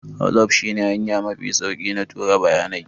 WhatsApp shi ne hanya mafi sauki na tura bayanai